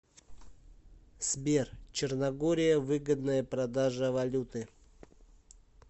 сбер черногория выгодная продажа валюты